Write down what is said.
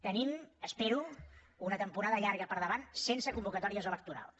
tenim ho espero una temporada llarga per davant sense convocatòries electorals